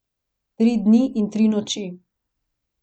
Tri dni in tri noči.